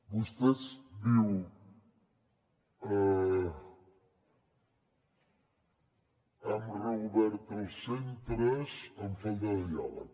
vostè diu han reobert els centres amb falta de diàleg